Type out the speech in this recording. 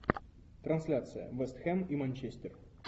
трансляция вест хэм и манчестер